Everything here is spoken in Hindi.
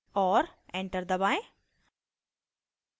और enter दबाएं